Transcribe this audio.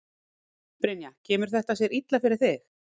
Brynja: Kemur þetta sér illa fyrir þig?